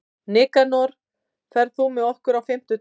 Nikanor, ferð þú með okkur á fimmtudaginn?